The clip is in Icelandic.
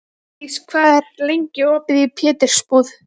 Freydís, hvað er lengi opið í Pétursbúð?